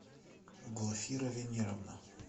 глафира венеровна